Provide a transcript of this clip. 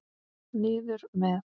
Niður með.